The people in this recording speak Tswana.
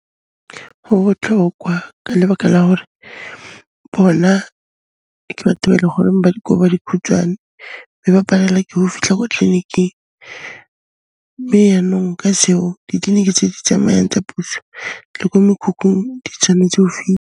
Ho botlhokwa ka lebaka la hore bona ke batho ba e le goreng ba di gore ba dikhutshwane, mme ba palelwa ke ho fitlha ko tleliniking, le yaanong o ka se utlwe tleliniki tse di tsamayang tsa puso, le ko mekhukhung di tshwanetse ho